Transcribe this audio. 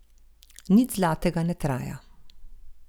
Nič zlatega ne traja.